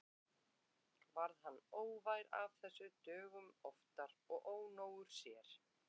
Varð hann óvær af þessu dögum oftar og ónógur sér.